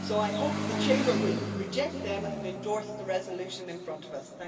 I hope the Chamber will reject them and endorse the resolution in front of us.